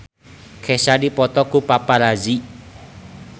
Kesha dipoto ku paparazi